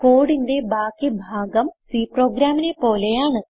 കോഡിന്റെ ബാക്കി ഭാഗം C പ്രോഗ്രാമിനെ പോലെയാണ്